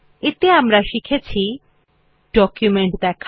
এতে আমরা শিখেছি ডকুমেন্ট দেখা